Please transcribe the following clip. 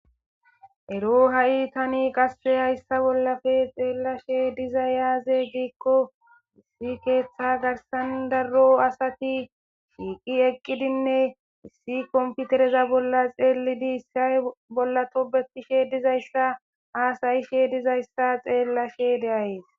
Ero tani qase hayssa bollape xeelashe dizay azee?giza giddiko issi keththa garssan daro asati eqqidine issi computereza bolla xellidi iza bolla tobetishe dizayssa hassa'ishe dizayssa be'ashe dayssi.